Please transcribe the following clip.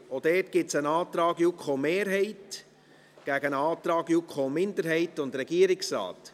Auch hier gibt es einen Antrag der JuKo-Mehrheit gegen einen Antrag der JuKo-Minderheit und des Regierungsrates.